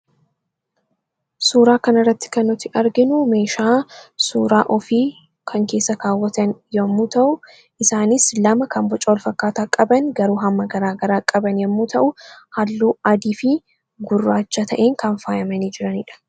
Suuraa kanarratti kan arginu meeshaa suuraa ofii kan keessa kaawwatan yoo ta'u, isaanis lama kan boca walfakkaataa qaban garuu hamma garaagaraa qaban yommuu ta'u, halluu adii fi gurraacha ta'een kan faayamedha.